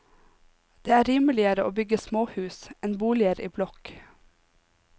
Det er rimeligere å bygge småhus enn boliger i blokk.